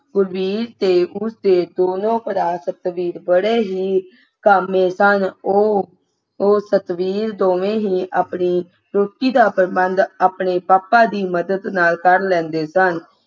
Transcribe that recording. ਗੁਰਬੀਰ ਤੇ ਉਸਦੇ ਦੋਨੋਂ ਭਰਾ ਸੁਤ ਬੀਰ ਬੜੇ ਹੀ ਕਾਮੇਂ ਸਨਉਹ ਉਹ ਸਤਬੀਰ ਦੋਨੋਂ ਹੀ ਰੋਟੀ ਦਾ ਪ੍ਰਬੰਧ ਆਪਣੇ ਪਾਪਾ ਦੀ ਮਦਦ ਨਾਲ ਕਰ ਲੈਂਦੇ ਸਨ